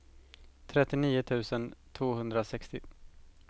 trettionio tusen tvåhundrasextio